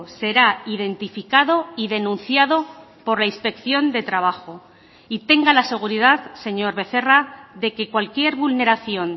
será identificado y denunciado por la inspección de trabajo y tenga la seguridad señor becerra de que cualquier vulneración